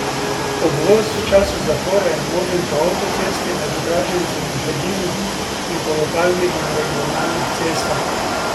Obvoz v času zapore je možen po avtocesti med Draženci in Hajdino in po lokalnih in regionalnih cestah.